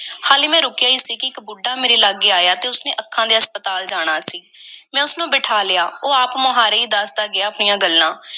ਹਾਲੇ ਮੈਂ ਰੁਕਿਆ ਈ ਸੀ ਕਿ ਇੱਕ ਬੁੱਢਾ ਮੇਰੇ ਲਾਗੇ ਆਇਆ ਅਤੇ ਉਸ ਨੇ ਅੱਖਾਂ ਦੇ ਹਸਪਤਾਲ ਜਾਣਾ ਸੀ। ਮੈਂ ਉਸ ਨੂੰ ਬਿਠਾ ਲਿਆ। ਉਹ ਆਪ-ਮੁਹਾਰੇ ਈ ਦੱਸਦਾ ਗਿਆ ਆਪਣੀਆਂ ਗੱਲਾਂ।